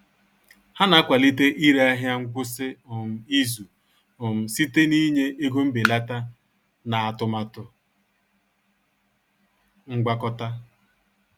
Ha na-akwalite ire ahịa ngwụsị um izu um site n'ịnye ego mbelata na atụmatụ ngwakọta